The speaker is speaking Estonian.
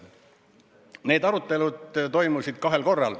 Need arutelud toimusid kahel korral.